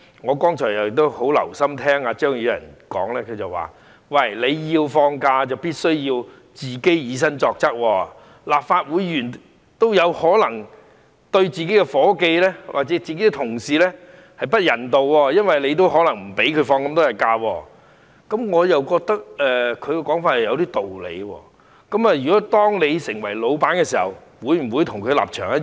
我剛才很留心聆聽張宇人議員發言，他說如果要放假便必須以身作則，立法會議員也有可能對自己的助理或同事不人道，因為他們也可能不讓員工放足應有的假期，我覺得他的說法有點道理，當你成為老闆時，會否跟他的立場一樣？